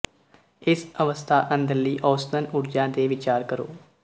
ਇਸ ਅਵਸਥਾ ਅੰਦਰਲੀ ਔਸਤਨ ਊਰਜਾ ਤੇ ਵਿਚਾਰ ਕਰੋ